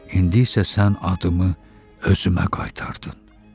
İndi isə sən adımı özümə qaytardın.